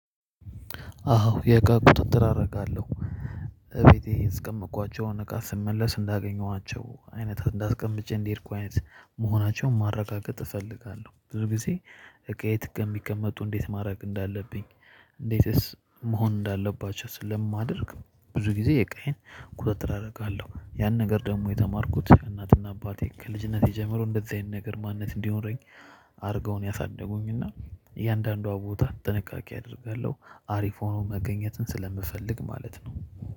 አዎ የእቃ ቁጥጥር አረጋለሁ። ቤቴ ያስቀመጥኳቸውን እቃ ስመለስ እንዳገኘኋቸው አይነት እንዳስቀምጬ እንደሄድኩ አይነት መሆናቸውን ማረጋገጥ እፈልጋለሁ ብዙ ጊዜ። እቃዬ የት ከሚቀመጡ እንዴት ማድረግ እንዳለብኝ? እንዴትስ መሆን እንዳለባቸው ስለማደርግ ብዙ ጊዜ እቃዬን ቁጥጥር አደርጋለሁ። ያን ነገር ደግሞ የተማርኩት ከእናት እና አባቴ ከልጅነቴ ጀምሮ እንደዚህ አይነት ነገር ማንነት እንዲኖረኝ አርገው ነው ያሳደጉኝ እና። እያንዳንዷ ቦታ ጥንቃቄ አደርጋለሁ አሪፍ ሆኖ መገኘትን ስለምፈልግ ማለት ነው